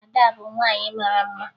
Ada bụ nwaanyị mara mma